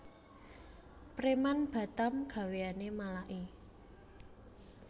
Preman Batam gaweane malaki